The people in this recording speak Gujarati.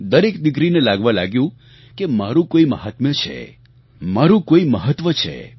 દરેક દિકરીને લાગવા લાગ્યું કે મારું કોઈ મહાત્મ્ય છે મારું કોઈ મહત્વ છે